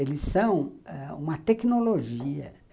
Eles são ãh uma tecnologia.